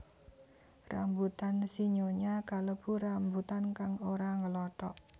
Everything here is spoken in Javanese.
Rambutan sinyonya kalebu rambutan kang ora nglothok